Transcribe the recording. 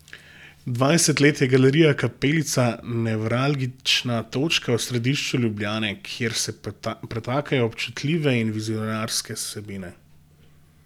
Dvajset let je Galerija Kapelica nevralgična točka v središču Ljubljane, kjer se pretakajo občutljive in vizionarske vsebine.